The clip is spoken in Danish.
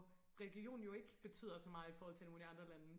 religion jo ikke betyder så meget i forhold til nogle af de andre lande